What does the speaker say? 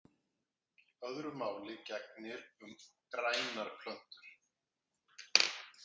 Öðru máli gegnir um grænar plöntur.